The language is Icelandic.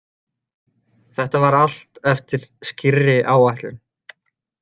Þetta var allt eftir skýrri áætlun.